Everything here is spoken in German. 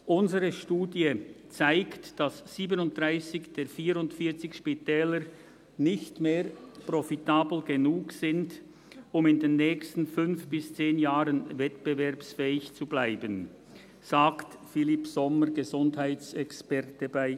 ‹Unsere Studie zeigt, dass 37 der 44 Spitäler nicht mehr profitabel genug sind, um in den nächsten fünf bis zehn Jahren wettbewerbsfähig zu bleiben›, sagt Philip Sommer, Gesundheitsexperte bei